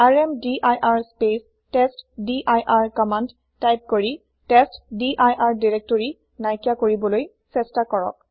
ৰ্মদিৰ space testdir command type কৰি testdir directory নাইকিয়া কৰিবলৈ চেষ্টা কৰক